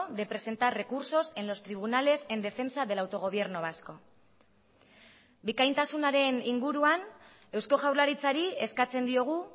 de presentar recursos en los tribunales en defensa del autogobierno vasco bikaintasunaren inguruan eusko jaurlaritzari eskatzen diogu